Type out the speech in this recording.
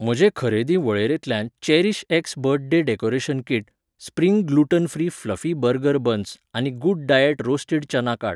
म्हजे खरेदी वळेरेंतल्यान Cherish X birthday decoration kit, spring gluten free fluffy burger buns आनी गूड डायट रोस्टीड चना काड.